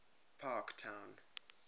parktown